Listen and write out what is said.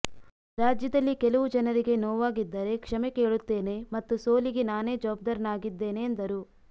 ರಾಜ್ಯದಲ್ಲಿ ಕೆಲವು ಜನರಿಗೆ ನೋವಾಗಿದ್ದರೆ ಕ್ಷಮೆ ಕೇಳುತ್ತೇನೆ ಮತ್ತು ಸೋಲಿಗೆ ನಾನೇ ಜವಾಬ್ದಾರನಾಗಿದ್ದೇನೆ ಎಂದರು